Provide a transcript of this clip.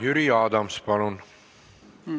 Jüri Adams, palun!